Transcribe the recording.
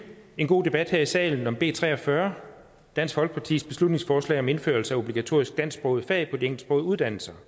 en god debat her i salen om b tre og fyrre dansk folkepartis beslutningsforslag om indførelse af obligatoriske dansksprogede fag på de engelsksprogede uddannelser